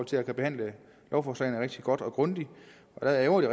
til at kunne behandle lovforslagene rigtig godt og grundigt der ærgrer det